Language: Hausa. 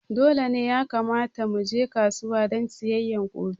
Dole ne ya kamata muje kasuwa don sayayya gobe